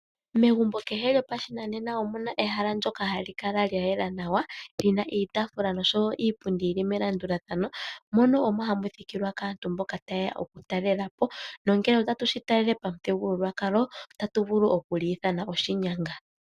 Megumbo kehe lyopashinanena omu na ehala ndyoka hali kala lya yela nawa, li na iitaafula nosho wo iipundi yi li melandulathano, mono omo hamu thikilwa kaantu mboka taye ya okutalela po. Nongele otatu shi talele pamuthigululwakalo, otatu vulu oku li ithana oshinyanga.